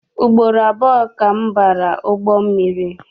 Ugboro abụọ ka m bara ụgbọ mmiri.